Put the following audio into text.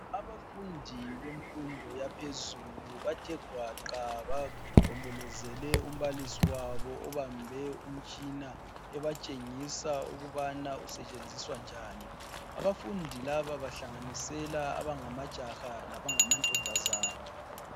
Abafundi bemfundo yaphezulu bathe gwaqa bagombolozele umbalisi wabo obambe umtshina ebatshengisa ukubana usetshenziswa njani. Abafundi laba bahlanganisela abangamajaha labangamantombazana.